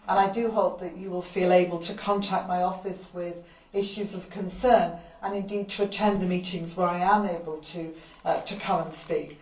I do hope that you will feel able to contact my office with issues of concern and indeed to attend the meetings where I am able to come and speak.